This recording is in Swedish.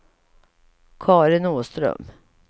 Karin Åström